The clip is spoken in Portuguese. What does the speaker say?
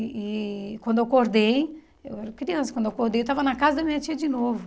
E quando eu acordei, eu era criança, quando eu acordei eu estava na casa da minha tia de novo.